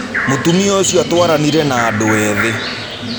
Mũtumia ũcio atwaranire na andũ ethĩ.